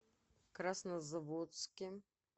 краснозаводске